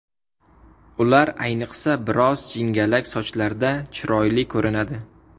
Ular ayniqsa biroz jingalak sochlarda chiroyli ko‘rinadi.